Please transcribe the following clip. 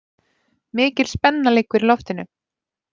Mikil spenna liggur í loftinu